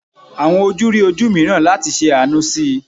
Awọn oju ri oju miiran lati ṣe aanu si i